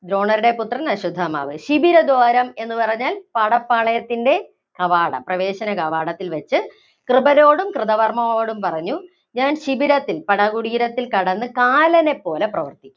ദ്രോണരുടെ പുത്രന്‍ അശ്വത്ഥമാവ്. ശിബിരദ്വാരം എന്ന് പറഞ്ഞാല്‍ പടപ്പാളയത്തിന്‍റെ കവാടം. പ്രവേശന കവാടത്തില്‍ വച്ച് കൃപാരോടും കൃതകർമാവിനോടും പറഞ്ഞു, ഞാന്‍ ശിബിരത്തില്‍, പടകുടീരത്തില്‍ കടന്ന് കാലനെപ്പോലെ പ്രവര്‍ത്തിക്കും